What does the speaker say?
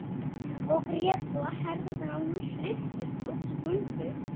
Og grét svo að herðarnar á honum hristust og skulfu.